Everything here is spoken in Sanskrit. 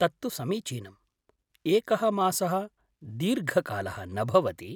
तत्तु समीचीनम्, एकः मासः दीर्घकालः न भवति।